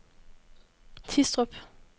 Tistrup